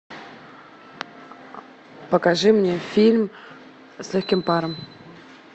покажи мне фильм с легким паром